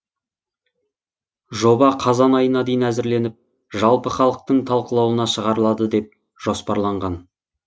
жоба қазан айына дейін әзірленіп жалпы халықтың талқылауына шығарылады деп жоспарланған